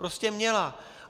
Prostě měla.